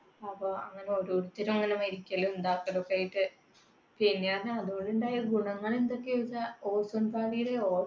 അപ്പൊ അങ്ങനെ ഓരോരുത്തർ ഇങ്ങനെ മരിക്കലും ഉണ്ടാക്കലുമൊക്കെയായിട്ട്. പിന്നെ അതുകൊണ്ടു ഉണ്ടായ ഗുണങ്ങൾ എന്തൊക്കെയാ ചോദിച്ചാൽ